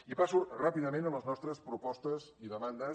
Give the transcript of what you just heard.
i passo ràpidament a les nostres propostes i demandes